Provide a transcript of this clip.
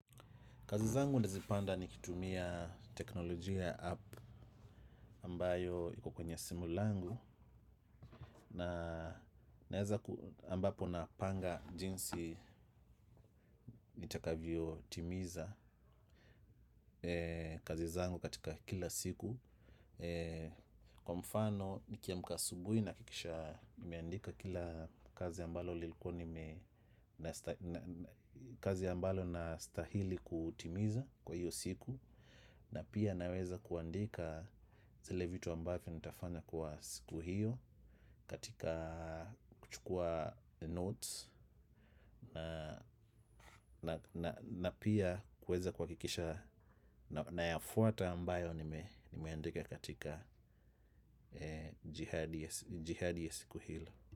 Kazi zangu nazipanga nikitumnia teknolojia ya app ambayo iko kwenye simu langu na naeza ambapo napanga jinsi nitakavyotimiza kazi zangu katika kila siku. Kwa mfano nikiamka asubuhi nahakikisha nimeandika kila kazi ambalo kazi ambalo nastahili kutimiza kwa iyo siku. Na pia naweza kuandika zile vitu ambavyo nitafanya kwa siku hiyo. Katika kuchukua the notes na pia kuweza kuhakikisha nayafuata ambayo nimeandika katika jihadi ya siku hilo.